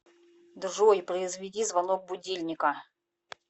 джой произведи звонок будильника